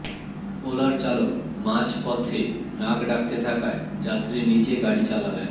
ওলার চালক মাঝপথে নাক ডাকতে থাকায় যাত্রীই নিজে গাড়ি চালালেন